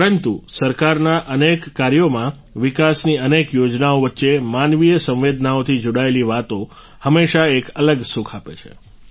પરંતુ સરકારના અનેક કાર્યોમાં વિકાસની અનેક યોજનાઓ વચ્ચે માનવીય સંવેદનાઓથી જોડાયેલી વાતો હંમેશા એક અલગ સુખ આપે છે